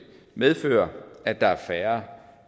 medføre at der er færre